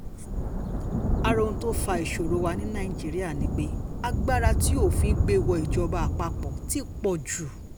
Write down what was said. ara ohun tó fa ìṣòro wa ní nàìjíríà ni pé agbára tí òfin gbé wọ ìjọba àpapọ̀ ti pọ̀ jù